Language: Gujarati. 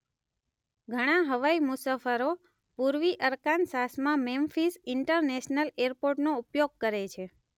ઘણા હવાઈ મુસાફરો પૂર્વી અરકાનસાસમાં મેમ્ફીઝ ઇન્ટરનેશનલ એરપોર્ટનો ઉપયોગ કરે છે.